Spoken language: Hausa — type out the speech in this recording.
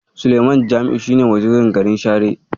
Sulaiman Jami'u shi ne Wazirin garin Share.